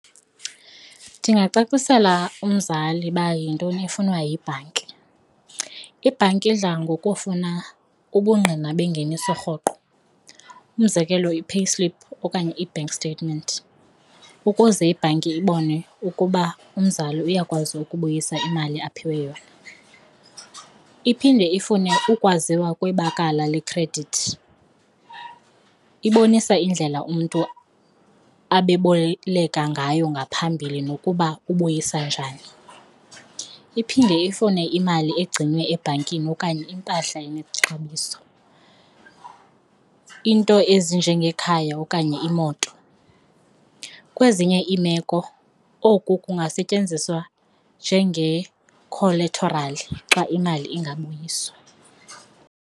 Ndingacacisela umzali uba yintoni efunwa yibhanki. Ibhanki idla ngokufuna ubungqina bengeniso rhoqo, umzekelo ii-payslip okanye i-bank statement ukuze ibhanki ibone ukuba umzali uyakwazi ukubuyisa imali aphiwe yona. Iphinde ifune ukwaziwa kwebakala lekhredithi, ibonisa indlela umntu abeboleka ngayo ngaphambili nokuba ubuyisa njani. Iphinde ifune imali egcinwa ebhankini okanye impahla yexabiso, iinto ezinjengekhaya okanye iimoto. Kwezinye iimeko oku kungasetyenziswa njenge-collateral xa imali ingabuyiswa.